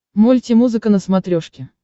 мультимузыка на смотрешке